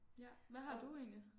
Ja hvad har du egentlig